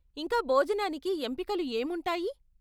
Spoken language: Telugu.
ఇంకా భోజనానికి ఎంపికలు ఏముంటాయి?